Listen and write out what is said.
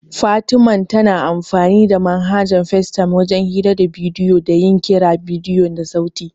Fatiman tana amfanin da manhajar Facetime wajen hira da bidiyo da yin kiran bidiyo da sauti.